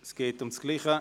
Es geht um dasselbe.